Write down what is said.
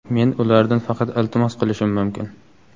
"Men ulardan faqat iltimos qilishim mumkin".